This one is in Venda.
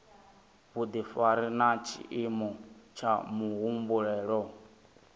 vhudifari na tshiimo tsha muhumbulo